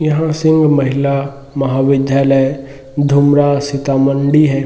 यहाँ सिंह महिला महाविद्यालय धूमरा सीतामंडी है।